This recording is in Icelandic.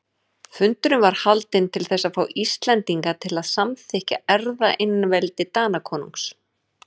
Fundurinn var haldinn til þess að fá Íslendinga til að samþykkja erfðaeinveldi Danakonungs.